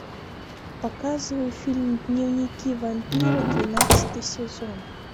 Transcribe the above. показывай фильм дневники вампира двенадцатый сезон